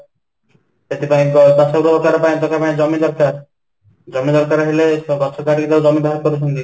ସେଥିପାଇଁ ବାସଗୃହ ଦରକାର ପାଇଁ ତ ପ୍ରଥମେ ଜମି ଦରକାର, ଜମି ଦରକାର ହେଲେ ତ ଗଛ କାଟି ଜମି ବାହାର କରୁଛନ୍ତି